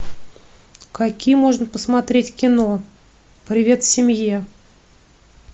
какие можно посмотреть кино привет семье